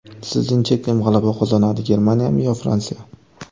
Sizningcha, kim g‘alaba qozonadi Germaniyami yo Fransiya?